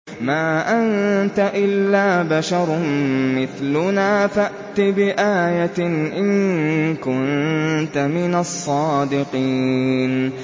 مَا أَنتَ إِلَّا بَشَرٌ مِّثْلُنَا فَأْتِ بِآيَةٍ إِن كُنتَ مِنَ الصَّادِقِينَ